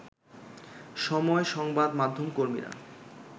সময় সংবাদ মাধ্যম কর্মীরা